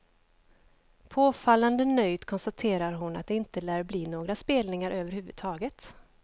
Påfallande nöjt konstaterar hon att det inte lär bli några spelningar över huvud taget.